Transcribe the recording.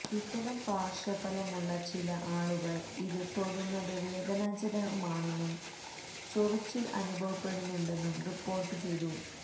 ഇത്തരം പാര്ശ്വഫലം ഉള്ള ചില ആളുകള് ഇത്് തൊടുന്നത് വേദനാജനകമാണെന്നും ചൊറിച്ചില് അനുഭവപ്പെടുന്നുണ്ടെന്നും റിപ്പോര്ട്ടുചെയ്തു